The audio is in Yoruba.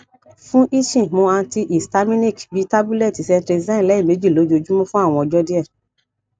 fun itching mu antihistaminic bi tabulẹti cetrizine lẹmeji lojoojumọ fun awọn ọjọ diẹ